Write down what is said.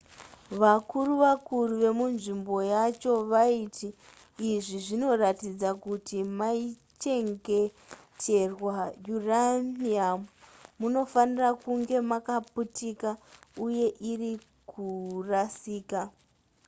vakuru vakuru vemunzvimbo yacho vaiti izvi zvinoratidza kuti maichengeterwa uranium munofanira kunge makaputika uye iri kurasika